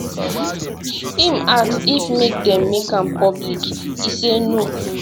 im ask if make dem make am public e say no